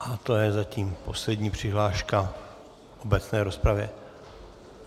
A to je zatím poslední přihláška v obecné rozpravě.